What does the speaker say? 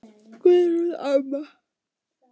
Guðrún amma.